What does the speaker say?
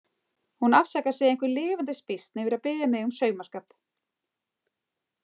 Hún afsakar sig einhver lifandis býsn yfir að biðja mig fyrir saumaskap.